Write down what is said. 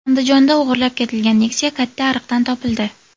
Andijonda o‘g‘irlab ketilgan Nexia katta ariqdan topildi .